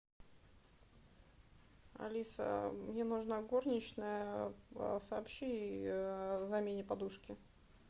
алиса мне нужна горничная сообщи ей о замене подушки